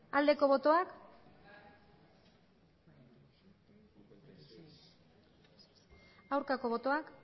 aldeko botoak aurkako botoak